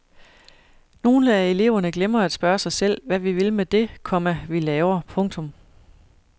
Nogle af eleverne glemmer at spørge sig selv hvad vi vil med det, komma vi laver. punktum